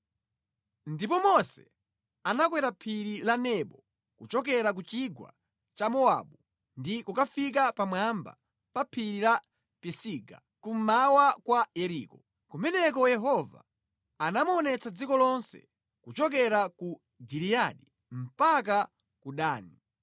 Ndipo Mose anakwera Phiri la Nebo kuchokera ku chigwa cha Mowabu ndi kukafika pamwamba pa Phiri la Pisiga, kummawa kwa Yeriko. Kumeneko Yehova anamuonetsa dziko lonse; kuchokera ku Giliyadi mpaka ku Dani.